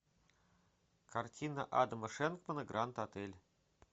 картина адама шенкмана гранд отель